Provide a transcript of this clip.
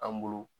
An bolo